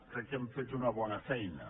crec que hem fet una bona feina